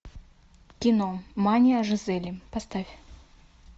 кино мания жизели поставь